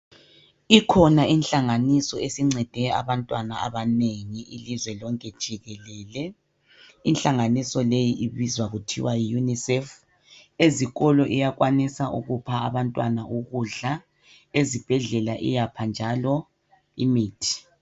Ikhona inhlanganiso esincede abantwana abanengi ilizwe lonke jikelele .Inhlanganiso le ibizwa kuthiwa yi UNICEF . Ezikolo iyakwanisa ukupha abantwana ukudla. Ezibhedlela iyapha njalo imithi.